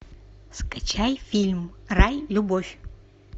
скачай фильм рай любовь